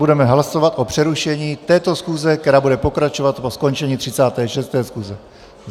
Budeme hlasovat o přerušení této schůze, která bude pokračovat po skončení 36. schůze.